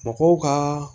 Mɔgɔw ka